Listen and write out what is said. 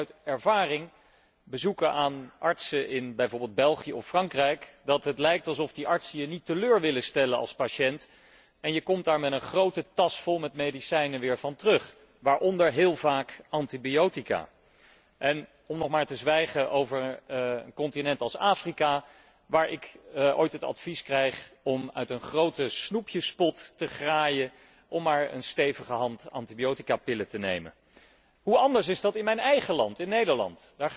Ik weet uit ervaring uit bezoeken aan artsen in bijvoorbeeld België of Frankrijk, dat het lijkt of die artsen je niet willen teleurstellen als patiënt en je komt daar terug van de dokter met een grote tas vol medicijnen, waaronder heel vaak antibiotica. Om nog maar te zwijgen over een continent als Afrika, waar ik ooit het advies kreeg om uit een grote snoepjespot te graaien om maar een stevige hand antibioticapillen te nemen! Hoe anders is dat in mijn eigen land, Nederland.